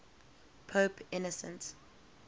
pope innocent